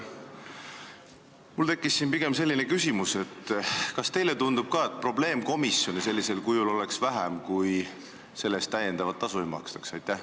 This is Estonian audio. Mul tekkis pigem selline küsimus: kas teile tundub ka, et probleemkomisjone sellisel kujul oleks vähem, kui seal osalemise eest täiendavat tasu ei makstaks?